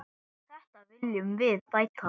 Þetta viljum við bæta.